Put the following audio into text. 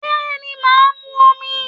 Bẹ́ẹ̀ni mà á mu omi